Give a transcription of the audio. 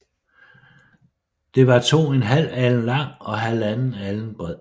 Det var to en halv alen lang og halvanden alen bred